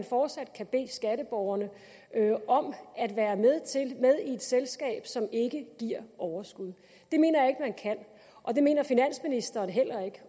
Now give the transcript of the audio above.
fortsat kan bede skatteborgerne om at være med i et selskab som ikke giver overskud det mener jeg ikke man kan og det mener finansministeren heller ikke